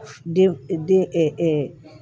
Den den